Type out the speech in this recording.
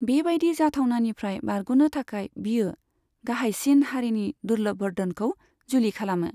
बेबायदि जाथावनानिफ्राय बारग'नो थाखाय बियो गाहायसिन हारिनि दुर्लभबर्धनखौ जुलि खालामो।